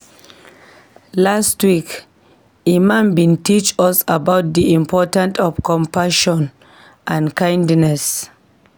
Last week, Imam bin teach us about di importance of compassion and kindness.